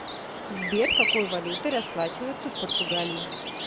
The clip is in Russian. сбер какой валютой расплачиваются в португалии